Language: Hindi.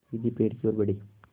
वे सीधे पेड़ की ओर बढ़े